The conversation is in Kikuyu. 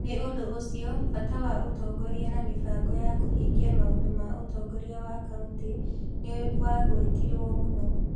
Nĩ ũndũ ũcio, bata wa ũtongoria na mĩbango ya kũhingia maũndũ ma ũtongoria wa kaunti nĩ wagwetirũo mũno.